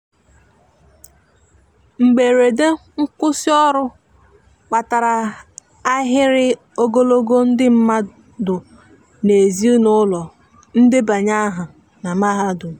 mgberede nkwusi ọrụ kpatara ahịrị ogologo ndi madu n'ezi ụlọ ndebanye aha na mahadum